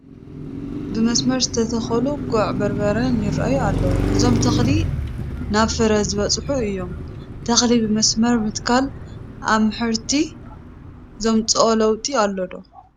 ብመስመር ዝተተኸሉ ጉዕ በርበረ ይርአዩ ኣለዉ፡፡ እዞም ተኽሊ ናብ ፍረ ዝበፅሑ እዮም፡፡ ተኽሊ ብመስመር ምትካል ኣብ ምሕርቲ ዘምፅኦ ለውጢ ኣሎ ዶ?